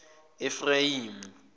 efrayimi